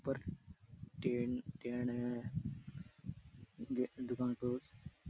ऊपर ten ten है ये दुकान पे उस --